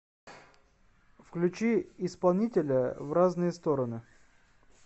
включи исполнителя в разные стороны